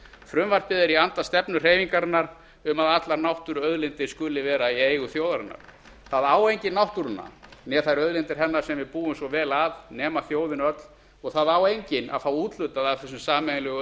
frumvarpið er í anda stefnu hreyfingarinnar um að allar náttúruauðlindir skuli vera í eigu þjóðarinnar það á enginn náttúruna né þær auðlindir hennar sem við búum svo vel að nema þjóðin öll og það á enginn að fá úthlutað af þessum sameiginlegu